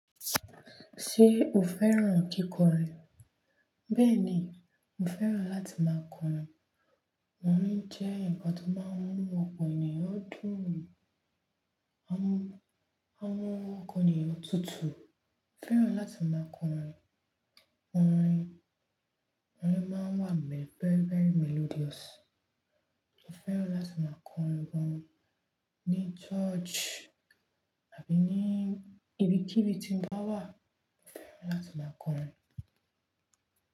Ṣé o fẹ́ràn kíkọrin? Bẹ́ẹ̀ ni, mo fẹ́ràn láti máa kọrin. Orin jẹ́ ǹkan tó máa ń mú ọ̀pọ̀ ènìyàn dùn. Ó máa ń mú ọkàn ènìyàn tútù fẹ́ràn láti máa kọrin. Orin, orin máa ń wà very very melodious. Mo fẹ́ràn láti máa kọrin gan ni, ní church àbí ní ibi kíbi tí mo bá wà. Mo fẹ́ràn láti máa kọrin.